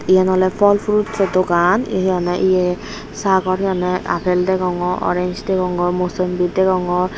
iyen ole phal fruits o dogaan he honne ye saagor he honne appel degongor orange degongor mosombi degongor.